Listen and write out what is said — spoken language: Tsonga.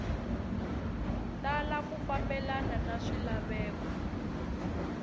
tala ku fambelena na swilaveko